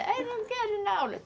Eu não quero ir na aula.